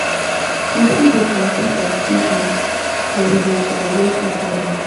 We fit dey compete as siblings but we dey celebrate each oda.